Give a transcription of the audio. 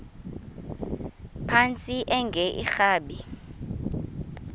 phantsi enge lrabi